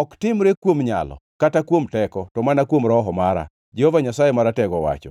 ‘Ok timre kuom nyalo kata kuom teko, to mana kuom Roho mara,’ Jehova Nyasaye Maratego owacho.